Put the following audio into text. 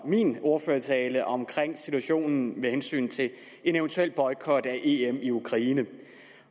min ordførertale om situationen med hensyn til en eventuel boykot af em i ukraine